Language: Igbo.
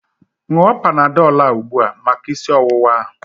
Ṅụọ Panadọl a ugbua maka isi ọwụwa ahu